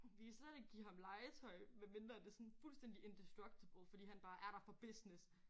Vi kan slet ikke give ham legetøj medmindre det sådan fuldstændig indestructible fordi han bare er der for business